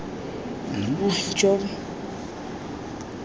monjobi